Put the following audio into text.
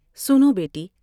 سنو بیٹی ۔